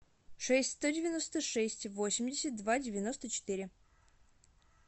шесть сто девяносто шесть восемьдесят два девяносто четыре